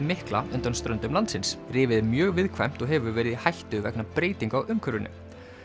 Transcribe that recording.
mikla undan ströndum landsins rifið er mjög viðkvæmt og hefur verið í hættu vegna breytinga á umhverfinu